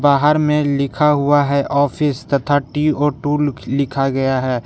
बाहर में लिखा हुआ है ऑफिस तथा टी वो टू लिखा गया है।